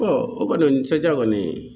o kɔnisan kɔni